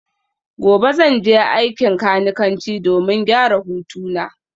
Gobe ​​zan je aikin kanikanci domin gyara hutuna